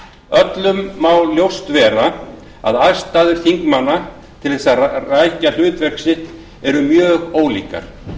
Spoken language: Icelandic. öllum má ljóst vera að aðstæður þingmanna til þess að rækja hlutverk sitt eru mjög ólíkar